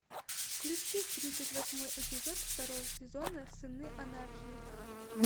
включи тридцать восьмой эпизод второго сезона сыны анархии